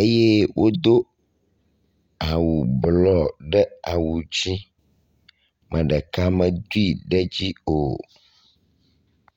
eye wodo awu blɔ ɖe awu dzi. Ame ɖeka medoe ɖe dzi o.